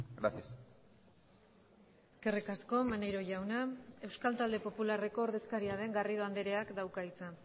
gracias eskerrik asko maneiro jauna euskal talde popularreko ordezkaria den garrido andreak dauka hitza